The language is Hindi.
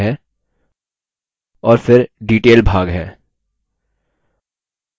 और फिर detail भाग है